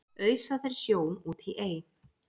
ausa þeir sjó út í ey